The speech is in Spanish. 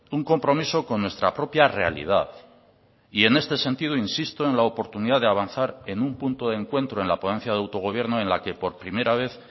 un compromiso con nuestra propia realidad y en este sentido insisto en la oportunidad de avanzar en un punto de encuentro en la ponencia de autogobierno en la que por primera vez